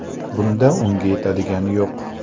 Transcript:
Bunda unga yetadigani yo‘q.